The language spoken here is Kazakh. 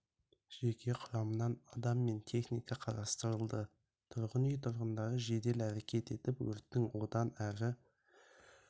жеке құрамынан адам мен техника қатыстырылды тұрғын үй тұрғындары жедел әрекет етіп өрттің одан әрі